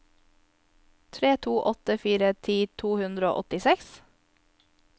tre to åtte fire ti to hundre og åttiseks